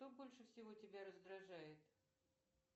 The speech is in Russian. кто больше всего тебя раздражает